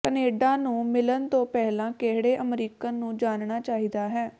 Canada ਨੂੰ ਮਿਲਣ ਤੋਂ ਪਹਿਲਾਂ ਕਿਹੜੇ ਅਮਰੀਕਨ ਨੂੰ ਜਾਣਨਾ ਚਾਹੀਦਾ ਹੈ